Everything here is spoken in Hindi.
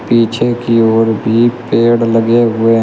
पीछे की ओर भी पेड़ लगे हुए --